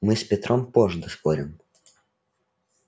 мы с петром позже доспорим